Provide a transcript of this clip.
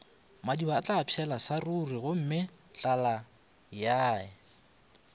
madiba atlapšhela sa rurigomme tlalayae